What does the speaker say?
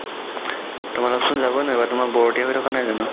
তোমলোক চোন যাবৈ নোৱাৰিবা তোমালোক বোৰতিয়া হয় থকা নাই জানো